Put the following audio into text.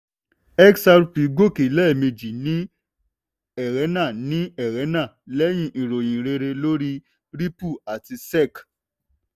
xrp gòkè lẹ́ẹ̀mejì ní ẹrẹ́nà ní ẹrẹ́nà lẹ́yìn ìròyìn rere lórí ripple àti sec.